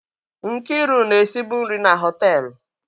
Nkiru na-esi bụ nri na họtelụ.